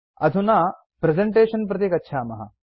अधुना प्रेजेन्टेशन् प्रति गच्छामः